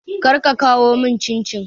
Kar ka kawo mun cincin